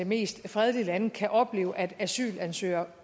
mest fredelige lande kan opleve at asylansøgere